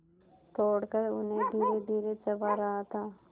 तोड़कर उन्हें धीरेधीरे चबा रहा था